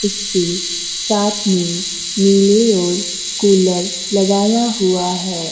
उसके साथ में नीले ओर कुलर लगाया हुआ है।